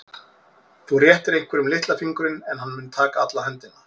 Þú réttir einhverjum litla fingurinn en hann mun taka alla höndina.